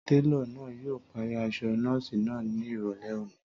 Télọ̀ náà yóò parí aṣọ nọ́ọ̀sì náà ní ìrọ̀lẹ́ òní